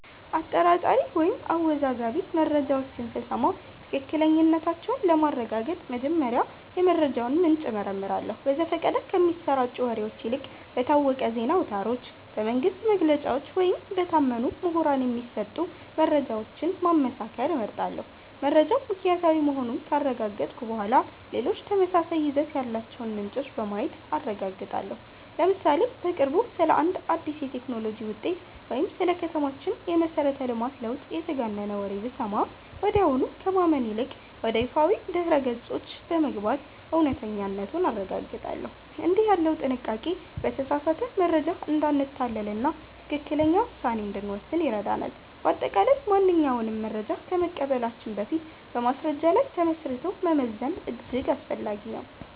አጠራጣሪ ወይም አወዛጋቢ መረጃዎችን ስሰማ ትክክለኛነታቸውን ለማረጋገጥ መጀመሪያ የመረጃውን ምንጭ እመረምራለሁ። በዘፈቀደ ከሚሰራጩ ወሬዎች ይልቅ በታወቁ የዜና አውታሮች፣ በመንግሥት መግለጫዎች ወይም በታመኑ ምሁራን የሚሰጡ መረጃዎችን ማመሳከር እመርጣለሁ። መረጃው ምክንያታዊ መሆኑን ካረጋገጥኩ በኋላ፣ ሌሎች ተመሳሳይ ይዘት ያላቸውን ምንጮች በማየት አረጋግጣለሁ። ለምሳሌ፦ በቅርቡ ስለ አንድ አዲስ የቴክኖሎጂ ውጤት ወይም ስለ ከተማችን የመሠረተ ልማት ለውጥ የተጋነነ ወሬ ብሰማ፣ ወዲያውኑ ከማመን ይልቅ ወደ ይፋዊ ድረ-ገጾች በመግባት እውነተኛነቱን አረጋግጣለሁ። እንዲህ ያለው ጥንቃቄ በተሳሳተ መረጃ እንዳንታለልና ትክክለኛ ውሳኔ እንድንወስን ይረዳናል። በአጠቃላይ፣ ማንኛውንም መረጃ ከመቀበላችን በፊት በማስረጃ ላይ ተመስርቶ መመዘን እጅግ አስፈላጊ ነው።